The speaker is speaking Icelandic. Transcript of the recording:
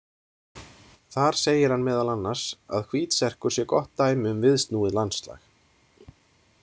Þar segir hann meðal annars að Hvítserkur sé gott dæmi um viðsnúið landslag.